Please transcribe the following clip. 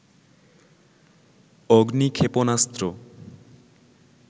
অগ্নি ক্ষেপণাস্ত্র